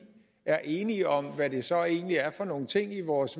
er enige om hvad det så egentlig er for nogle ting i vores